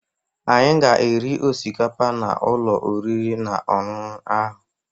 Anyị ga-eri osikapa n'ụlọ oriri na ọṅụṅụ ahụ.